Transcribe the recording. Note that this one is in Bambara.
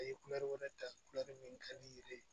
A ye kulɛri wɛrɛ ta kulɛri min ka di i ye